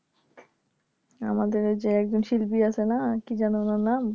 আমাদের ওইযে একজন শিল্পী আছে না কি যেন ওনার নাম